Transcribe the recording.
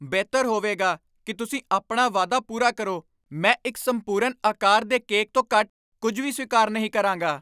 ਬਿਹਤਰ ਹੋਵੇਗਾ ਕਿ ਤੁਸੀਂ ਆਪਣਾ ਵਾਅਦਾ ਪੂਰਾ ਕਰੋ। ਮੈਂ ਇੱਕ ਸੰਪੂਰਨ ਆਕਾਰ ਦੇ ਕੇਕ ਤੋਂ ਘੱਟ ਕੁੱਝ ਵੀ ਸਵੀਕਾਰ ਨਹੀਂ ਕਰਾਂਗਾ।